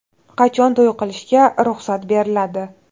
Qachon to‘y qilishga ruxsat beriladi?